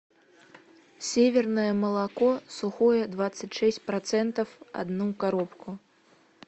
северное молоко сухое двадцать шесть процентов одну коробку